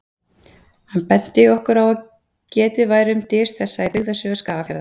Hann benti okkur á að getið væri um dys þessa í Byggðasögu Skagafjarðar.